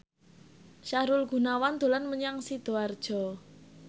Sahrul Gunawan dolan menyang Sidoarjo